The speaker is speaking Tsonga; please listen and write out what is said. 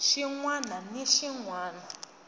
xin wana ni xin wana